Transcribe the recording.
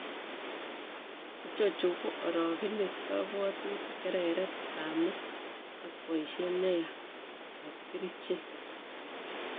Ichochu koo orogenet, kabwatutik, kereret ab met ak boisiet neyaa ab kercheek